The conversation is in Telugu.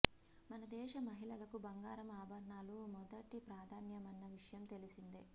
మన దేశ మహిళలకు బంగారం ఆభరణాలు మొదటి ప్రాధాన్యమన్న విషయం తెలిసిందే